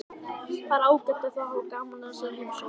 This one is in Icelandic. Það er ágætt ef þau hafa gaman af þessari heimsókn.